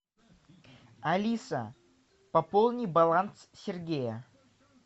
алиса пополни баланс сергея